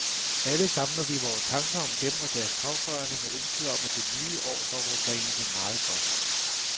Alle samler vi vore tanker om dem og deres pårørende med ønsket om, at det nye år dog må bringe dem meget godt.